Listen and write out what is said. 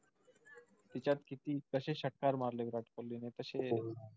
त्याच्यात किती कशे षटकार मारले विराट कोहली ने तशे,